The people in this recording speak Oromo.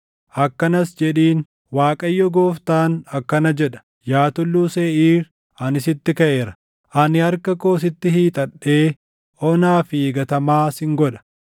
akkanas jedhiin: ‘ Waaqayyo Gooftaan akkana jedha: Yaa Tulluu Seeʼiir ani sitti kaʼeera; ani harka koo sitti hiixadhee onaa fi gatamaa sin godha.